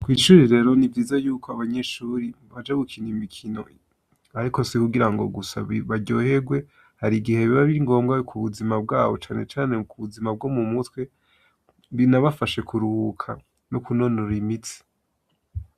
Ishuri rero niviza yuko abanyeshuri baja gukina imikino ariko si hugira ngo gusa baryoherwe hari igihe biba biri ngombwa ku buzima bwabo cane cane ku buzima bwo mu mutwe binabafashe kuruhuka no kunonora imitsi